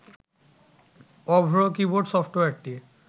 অভ্র keyboard সফটওয়্যারটি